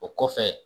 O kɔfɛ